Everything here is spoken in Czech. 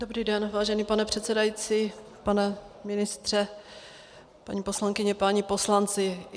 Dobrý den, vážený pane předsedající, pane ministře, paní poslankyně, páni poslanci.